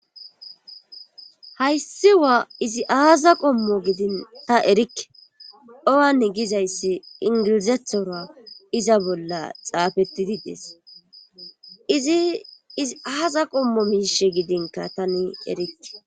Hayssi izi aazza qommo gidi ta erikkeowan gizayssi inggilizethora bolla xaafettidi des Izi is aaza qommoy miishi gidinkka tan erikke